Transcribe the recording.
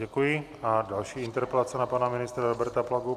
Děkuji a další interpelace na pana ministra Roberta Plagu.